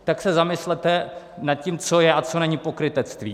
Tak se zamyslete nad tím, co je a co není pokrytectví.